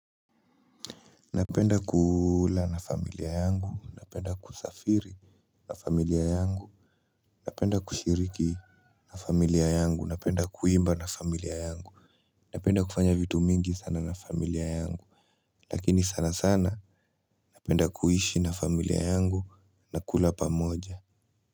Napenda kula na familia yangu, napenda kusafiri na familia yangu. Napenda kushiriki na familia yangu, napenda kuimba na familia yangu. Napenda kufanya vitu mingi sana na familia yangu. Lakini sana sana napenda kuhishi na familia yangu na kula pamoja.